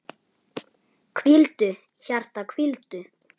Hvíldu, hjarta, hvíldu.